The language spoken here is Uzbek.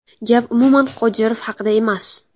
Gap umuman Qodirov haqida emas.